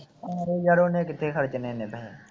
ਯਾਰ ਉਹਨੇ ਕਿੱਥੇ ਖਰਚਨੇ ਏਨੇ ਪੈਸੇ